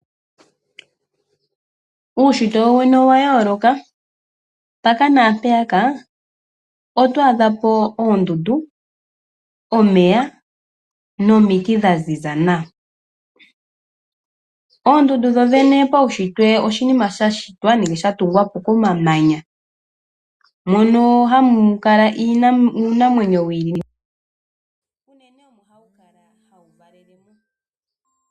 Uushitwe wowene owa yooloka mpaka na mpeya ka oto adha po uushitwe oondundu, omeya noomiiti dhaziza nawa. Oondundu dhodhene paishitwe oshinima sha shitwe nenge shatungwa po komamanya mono hamu kala iinamwenyo yi ili noyi ili.